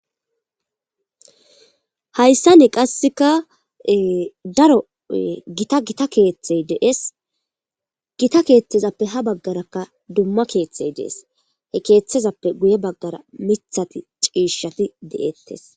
Hayissani qassika ee darro gitta gitta kethayi de'esi gitta kethazape ha baggara duma kethayi desi he kethazappe guye baggara mithati cishati deyetesi.